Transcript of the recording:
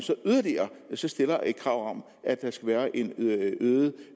så yderligere stiller et krav om at der skal være en øget